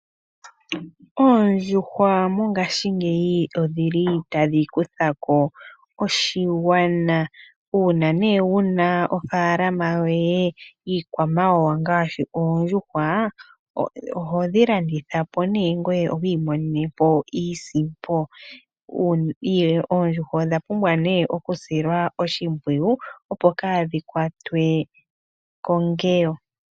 Oondjuhwa mongashiingeyi odhili tadhi kutha ko oshigwana. Uuna nee wuna ofaalama yoye yiikwamawawa ngaashi Oondjuhwa ohodhi landitha po nee ngoye to imonene po iisimpo. Oondjuhwa odha pumbwa nee oku silwa oshimpwiyu opo kaadhi kwatwe kongeyo.